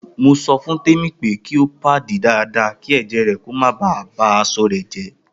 Mo so fun Temi pe ki o padi dada ki eje re ko ba aso re je.